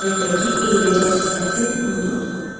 Portretdəki eybəcər sifəti unudurdu.